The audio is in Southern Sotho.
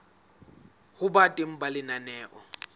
ho ba teng ha lenaneo